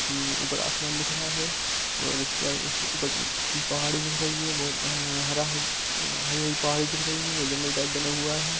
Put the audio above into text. उपर आसमान दिख रहा है और उस पर पहाड़ी दिख रही है बहुत हरा हरी-हरी पहाड़ी दिख रही है ब्रिज टाईप बना हुवा है।